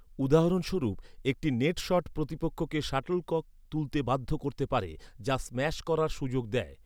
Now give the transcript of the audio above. উদাহরণস্বরূপ, একটি net shot প্রতিপক্ষকে শাটলকক তুলতে বাধ্য করতে পারে, যা স্ম্যাশ করার সুযোগ দেয়।